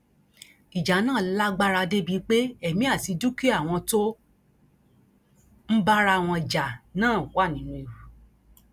ìjà náà lágbára débii pé èmi àti dúkìá àwọn tó ń bá ara wọn jà náà wà nínú ewu